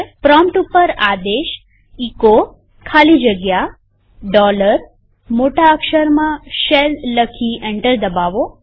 prompt ઉપર આદેશ echo ખાલી જગ્યા મોટા અક્ષરમાં શેલ લખી એન્ટર દબાવો